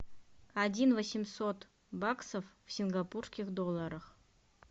один восемьсот баксов в сингапурских долларах